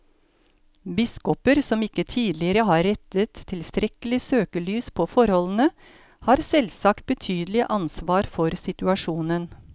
Biskoper som ikke tidligere har rettet tilstrekkelig søkelys på forholdene, har selvsagt betydelig ansvar for situasjonen.